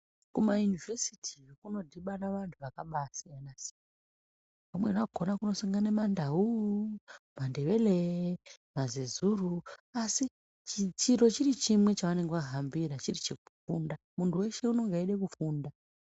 Kuma yunivhesiti kuno dhibana vantu vakaba siyana siyana Mandau Mandebele Mazezuru asi chiro chiri chimwe chava hambira chiri chekufunda muntu weshe anenge eida kufunda.